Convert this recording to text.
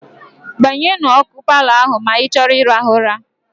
Gbanyụọ ọkụ paalọ ahụ ma ị chọọ ịrahụ ụra.